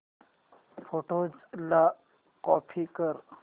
photos ला copy कर